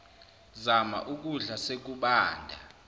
zama ukukudla sekubanda